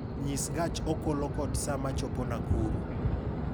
Nyis gach okolokod saa ma chopo Nakuru